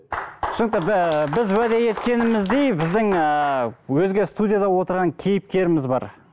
түсінікті ііі біз уәде еткеніміздей біздің ыыы өзге студияда отырған кейіпкеріміз бар